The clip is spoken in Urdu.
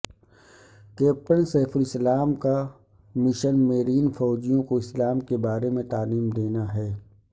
کیپٹن سیف الاسلام کا مشن میرین فوجیوں کو اسلام کے بارے میں تعلیم دینا ہے